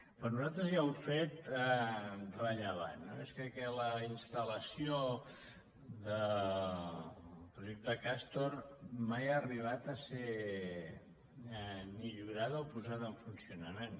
per nosaltres hi ha un fet rellevant i és que la installació del projecte castor mai ha arribat a ser millorada o posada en funcionament